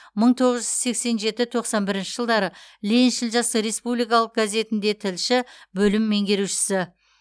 мың тоғыз жүз сексен жеті тоқсан бірінші жылдары лениншіл жас республикалық газетінде тілші бөлім меңгерушісі